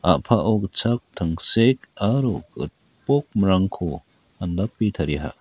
a·pao gitchak tangsek aro gipokmrangko andape tariaha.